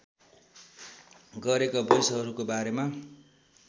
गरेका वैँसहरूको बारेमा